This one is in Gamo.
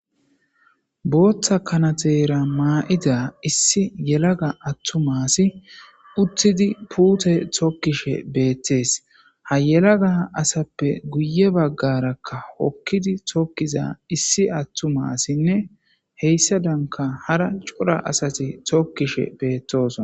booththa kanaxera maa7ida issi yelaga attumasi uttidi puute tokkishe beettees ha yelaga asappe guye baggarakka okkidi tokkiza issi attumasinne heyssa danka hara cura asati tookkishe beettosona